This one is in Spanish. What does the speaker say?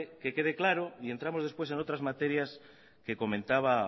que quede claro y entramos después en otras materias que comentaba